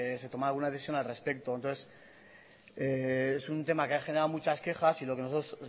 se tomara alguna decisión al respecto entonces es un tema que ha generado muchas quejas y lo que nosotros